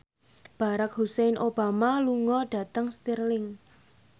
Barack Hussein Obama lunga dhateng Stirling